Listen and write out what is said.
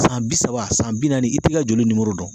San bi saba san bi naani i t'i ka joli nimoro dɔn